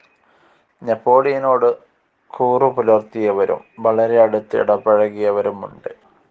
നെപോളിയനോട് കൂറു പുലർത്തിയവരും വളരെ അടുത്ത് ഇടപഴകിയവരും ഉണ്ട്.